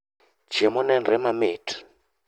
Chiemo nenre mamit